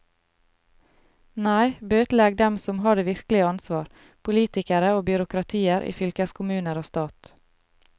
Nei, bøtelegg dem som har det virkelige ansvar, politikere og byråkratier i fylkeskommuner og stat.